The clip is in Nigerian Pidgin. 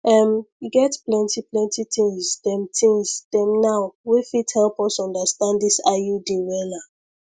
ehm e get plenty plenty things dem things dem now wey fit help us understand this iud wella